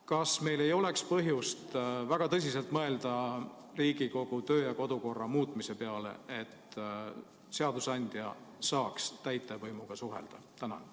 Kas meil ei oleks põhjust väga tõsiselt mõelda Riigikogu kodu- ja töökorra muutmise peale, et seadusandja saaks täitevvõimuga suhelda?